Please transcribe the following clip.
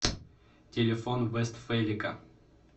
телефон вестфелика